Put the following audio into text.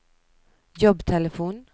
jobbtelefon